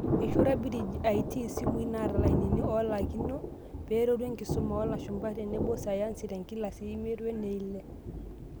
Eishorua BridgeIT simui naata lainini oolakino peeretu enkisuma oloolashumba tenebo sayansi tenkilasi eimiet weneile.